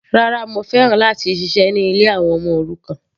Rárá, mo fẹ́ láti ṣiṣẹ́ ní ilé àwọn ọmọ òrukàn.